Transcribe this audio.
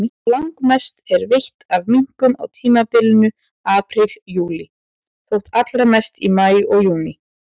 Langmest er veitt af minkum á tímabilinu apríl-júlí, þó allra mest í maí og júní.